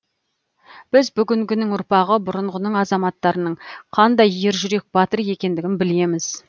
біз бүгінгінің ұрпағы бұрынғының азаматтарының қандай ер жүрек батыр екендігін білеміз